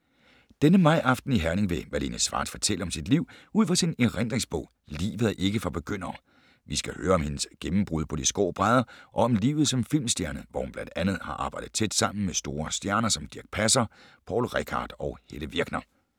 Denne majaften i Herning vil Malene Schwartz fortælle om sit liv ud fra sin erindringsbog ”Livet er ikke for begyndere”. Vi skal høre om hendes gennembrud på de skrå brædder og om livet som filmstjerne, hvor hun blandt andet har arbejdet tæt sammen med store stjerner som Dirch Passer, Poul Reichhardt og Helle Virkner.